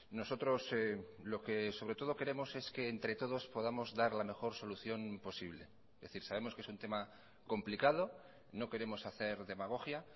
nosotros lo que sobre todo queremos es que entre todos podamos dar la mejor solución posible es decir sabemos que es un tema complicado no queremos hacer demagogia